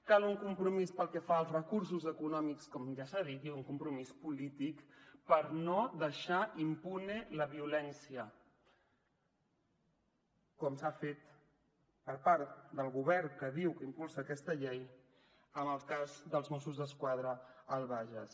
cal un compromís pel que fa als recursos econòmics com ja s’ha dit i un compromís polític per no deixar impune la violència com s’ha fet per part del govern que diu que impulsa aquesta llei en el cas dels mossos d’esquadra al bages